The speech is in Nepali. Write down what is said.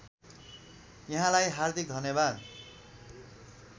यहाँलाई हार्दिक धन्यवाद